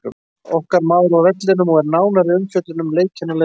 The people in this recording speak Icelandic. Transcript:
Okkar maður var á vellinum og er nánari umfjöllun um leikinn á leiðinni.